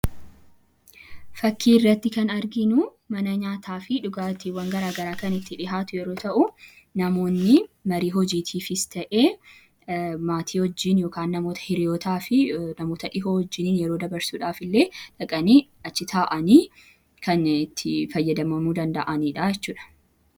Fakkii irratti kan arginuu mana nyaataaf dhugattiwwan gara garaa itti dhiyaatu yommuu ta'u, namoonni hojii mariitifis ta maatii wajiin yookaan hiriyootafi namoota dhiyoo wajiin yeroo dabarsuudhaaf illee dhaqani achii ta'ani kan itti faayadamamuu danda'anidha jechuudha.